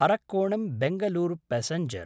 अर्रकोणं–बेङ्गलूर passenger